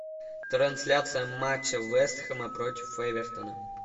трансляция матча вест хэма против эвертона